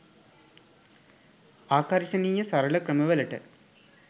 ආකර්ශනීය සරල ක්‍රම වලට